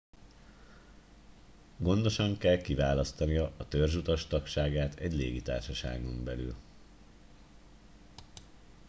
gondosan kell kiválasztania a törzsutas tagságát egy légitársaságon belül